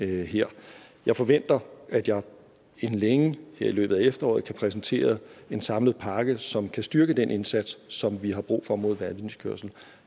her jeg forventer at jeg inden længe her i løbet af efteråret kan præsentere en samlet pakke som kan styrke den indsats som vi har brug for mod vanvidskørsel